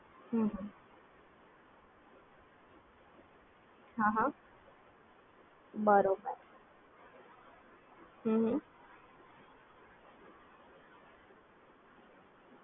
બરોબર એટલે સારી Service છે અમને